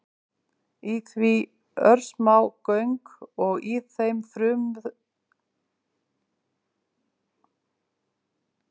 Í því eru örsmá göng og í þeim frumuþræðir sem gera það viðkvæmt.